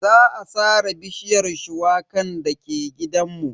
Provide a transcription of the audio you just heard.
Za a sare bishiyar shuwakan dake gidanmu.